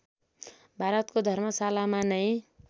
भारतको धर्मशालामा नै